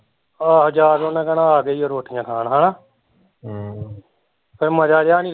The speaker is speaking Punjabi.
ਆਹੋ ਜਾ ਕੇ ਓਹਨੇ ਕਹਿਣਾ ਆਗੇ ਈ ਓ ਰੋਟੀਆ ਖਾਣ ਹੈਨਾ ਹਮ ਫੇਰ ਮਜ਼ਾ ਜਿਹਾ ਨੀ